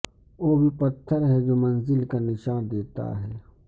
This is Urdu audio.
وہ بھی پتھر ہے جو منزل کا نشاں دیتا ہے